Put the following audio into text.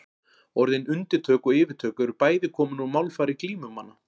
Orðin undirtök og yfirtök eru bæði komin úr málfari glímumanna.